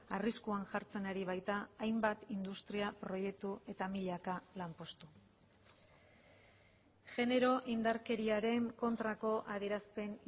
arriskuan jartzen ari baita hainbat industria proiektu eta milaka lanpostu genero indarkeriaren kontrako adierazpen